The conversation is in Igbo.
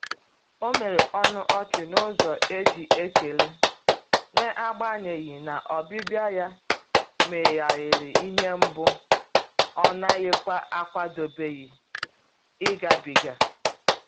O mere ọnụ ọchị n’ụzọ e ji ekele, n'agbanyeghi na ọbịbịa ya meghere ihe mgbu ọ naghịkwa akwadebe ịgabiga.